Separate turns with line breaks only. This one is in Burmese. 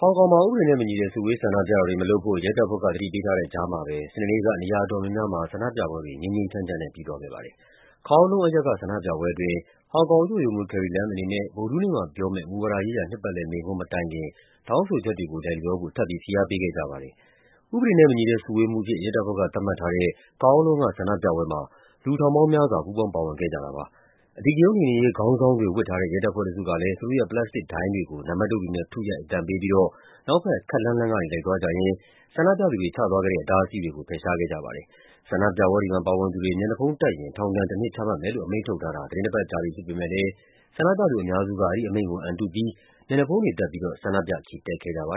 ဟောင်ကောင်မှာ ဥပဒေနဲ့မညီတဲ့ စုဝေးဆန္ဒပြတာတွေ မလုပ်ဖို့ ရဲတပ်ဖွဲ့က သတိပေးထားတဲ့ကြားမှာပဲ စနေနေ့က နေရာအတော်များများမှာ ဆန္ဒပြပွဲတွေ ငြိမ်းငြိမ်းချမ်းချမ်းနဲ့ ပြီးသွားခဲ့ပါတယ်။ Kowloon အရပ်က ဆန္ဒပြပွဲအတွင်း ဟောင်ကောင်အုပ်ချုပ်ရေးမှူး Carrie Lam အနေနဲ့ ဗုဒ္ဓဟူးနေ့မှာပြောမယ့် မူဝါဒရေးရာ နှစ်ပတ်လည်မိန့်ခွန်း မတိုင်ခင် တောင်းဆိုချက်တွေကို လိုက်လျောဖို့ ထပ်ပြီး ဖိအားပေးခဲ့ကြပါတယ်။ ဥပဒေနဲ့မညီတဲ့ စုဝေးမှုအဖြစ် ရဲတပ်ဖွဲ့က သတ်မှတ်ထားတဲ့ Kowloon က ဆန္ဒပြပွဲမှာ လူ ထောင်ပေါင်းများစွာ ပူးပေါင်း ပါဝင်ခဲ့ကြတာပါ။ အဓိကရုဏ်းနှိမ်နင်းရေး ခေါင်းဆောင်းတွေ ဝတ်ထားတဲ့ ရဲတပ်ဖွဲ့တစုကလည်း သူတို့ရဲ့ ပလတ်စတစ်ဒိုင်းတွေကို နံပါတ်တုတ်တွေနဲ့ ထုရိုက် အသံပေးပြီးတော့ နောက်ဘက် ခပ်လှမ်းလှမ်းကနေ လိုက်သွားကြရင်း ဆန္ဒပြသူတွေ ချသွားခဲ့တဲ့ အတားအဆီးတွေကို ဖယ်ရှားခဲ့ကြပါတယ်။ ဆန္ဒပြပွဲတွေမှာ ပါဝင်သူတွေ မျက်နှာဖုံးတပ်ရင် ထောင်ဒဏ်တနှစ် ချမှတ်မယ်လို့ အမိန့်ထုတ်ထားတာ သီတင်းတပတ်ကြာပြီ ဖြစ်ပေမယ့်လည်း ဆန္ဒပြသူ အများစုက အဲဒီအမိန့်ကို အံတုပြီး မျက်နှာဖုံးတွေတပ်ပြီးတော့ ဆန္ဒပြ ချီတက်ခဲ့
ကြပါ